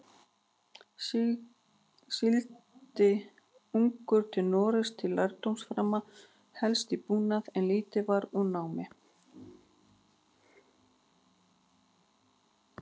Sigldi ungur til Noregs til lærdómsframa, helst í búnaði, en lítið varð úr námi.